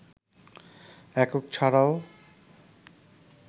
একক ছাড়াও